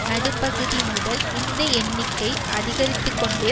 நடுப்பகுதி முதல் இந்த எண்ணிக்கை அதிகரித்து கொண்டே